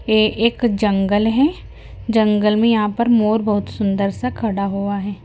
ये एक जंगल है जंगल मे यहां पर मोर बहोत सुंदर सा खड़ा हुआ है।